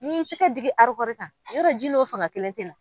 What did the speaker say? N'i y'i tɛgɛ digi kan yɔrɔ ji n'o fanga kelen tɛ na.